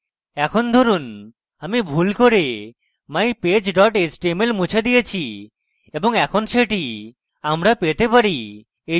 এখন ধরুন আমি ভুল করে mypage html মুছে দিয়েছি এবং এখন সেটি আমরা পেতে চাই